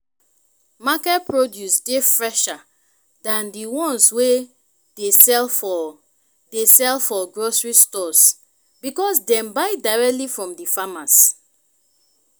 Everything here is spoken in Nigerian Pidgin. market produce dey fresher than di ones wey dey sell for dey sell for grocery stores because dem buy directly from di farmers.